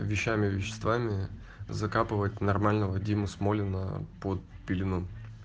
вещами веществами закапывать нормально вадиму смолино под пелену